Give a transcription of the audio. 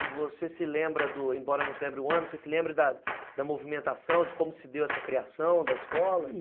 E você se lembra, embora não se lembre o ano, você se lembra da movimentação, de como se deu essa criação da escola?